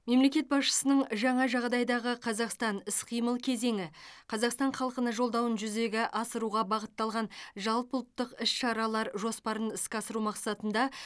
мемлекет басшысының жаңа жағдайдағы қазақстан іс қимыл кезеңі қазақстан халқына жолдауын жүзеге асыруға бағытталған жалпыұлттық іс шаралар жоспарын іске асыру мақсатында